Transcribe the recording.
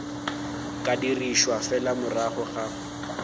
ka dirišwa fela morago ga